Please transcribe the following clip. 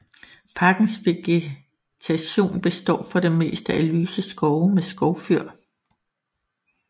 Parkens vegetation består for det meste af lyse skove med skovfyr